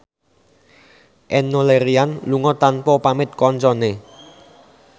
Enno Lerian lunga tanpa pamit kancane